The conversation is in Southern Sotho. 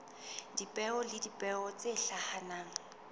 dipeo le dipeo tse hlahang